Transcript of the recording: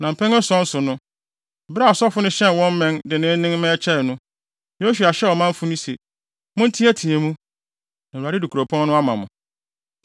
Ne mpɛn ason so no, bere a asɔfo no hyɛn wɔn mmɛn denneennen ma ɛkyɛe no, Yosua hyɛɛ ɔmanfo no se, “Monteɛteɛ mu! Na Awurade de kuropɔn no ama mo!